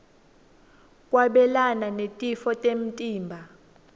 kwabelana netitfo temtimba